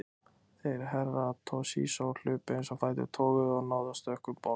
Þeir Herra Toshizo hlupu eins og fætur toguðu og náðu að stökkva um borð.